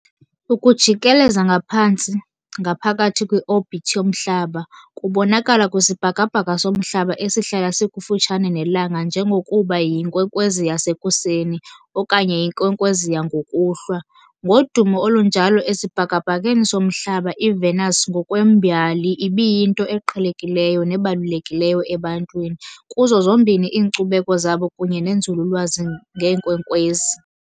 Ukujikeleza ngaphantsi, ngaphakathi kwi-orbit yomhlaba, kubonakala kwisibhakabhaka soMhlaba esihlala sikufutshane neLanga, njengokuba "yinkwenkwezi yasekuseni" okanye "yinkwenkwezi yangokuhlwa". Ngodumo olunjalo esibhakabhakeni soMhlaba, iVenus ngokwembali ibiyinto eqhelekileyo nebalulekileyo ebantwini, kuzo zombini iinkcubeko zabo kunye nenzululwazi ngeenkwenkwezi.